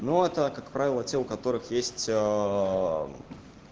ну а так как правило те у которых есть